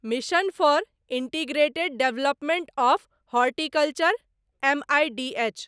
mission for integrated development of horticulture ( M I D H )